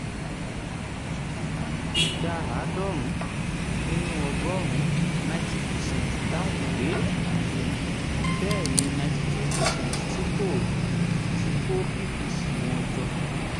ìdá àádọ́rùn-ún nínú ọgọ́rùn-ún ninety percent dáhùn pé bẹ́ẹ̀ ni ninety two percent ti kó pvc wọn jọ.